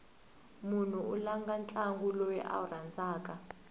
mnhu u langha ntlangu lowu a wu rhandzaku